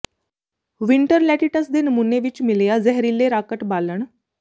winter lettuce ਦੇ ਨਮੂਨੇ ਵਿੱਚ ਮਿਲਿਆ ਜ਼ਹਿਰੀਲੇ ਰਾਕਟ ਬਾਲਣ